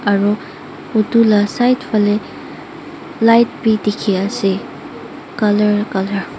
aro etu laa side phale light bi diki asae colour colour .